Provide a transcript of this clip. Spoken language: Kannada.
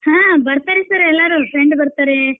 ಹಾ ಬರ್ತಾರೆ sir ಎಲ್ಲಾರು friend ಬರ್ತಾರೇ.